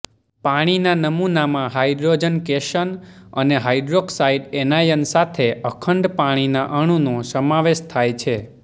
પાણીના નમૂનામાં hydrogen cation અને હાઈડ્રોક્સાઇડ એનાયન સાથે અખંડ પાણીના અણુનો સમાવેશ થાય છે